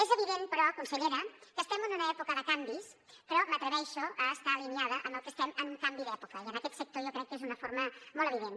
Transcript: és evident però consellera que estem en una època de canvis però m’atreveixo a estar alineada amb que estem en un canvi d’època i en aquest sector jo crec que és d’una forma molt evident